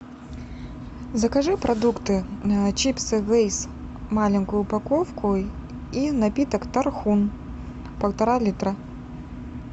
закажи продукты чипсы лейс маленькую упаковку и напиток тархун полтора литра